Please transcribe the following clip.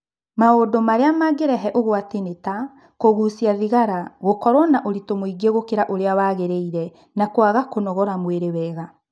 Maũndu arĩa mangĩrehe ũgwati nĩ ta kũgucia thigara, gũkorwo na ũritũ mũingĩ gũkĩra ũrĩa wagĩrĩire na kũaga kũnogora mwĩrĩ wega.